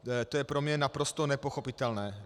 To je pro mě naprosto nepochopitelné.